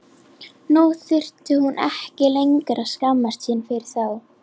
Nú þurfti hún ekki lengur að skammast sín fyrir þá.